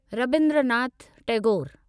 Rabindranath Tagore